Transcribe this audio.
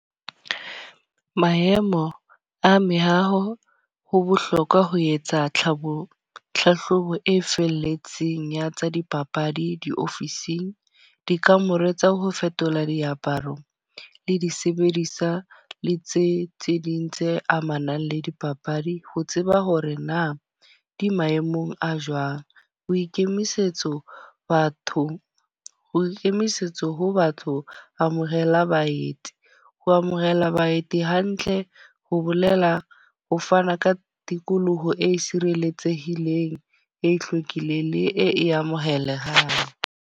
Maemo a mehaho. Ho bohlokwa ho etsa tlhahlobo tlhahlobo e felletseng ya tsa dipapadi, diofising. Dikamore tsa ho fetola diaparo le disebediswa le tse tse ding tse amanang le dipapadi. Ho tseba hore na di maemong a jwang. Boikemisetso bathong ho ikemisetsa ho batho amohela baeti. Ho amohela baeti hantle, ho bolela ho fana ka tikoloho e sireletsehileng, e hlwekileng le e amohelehang.